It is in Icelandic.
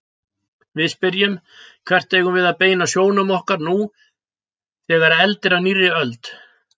Við spyrjum: Hvert eigum við að beina sjónum okkar nú þegar eldir af nýrri öld?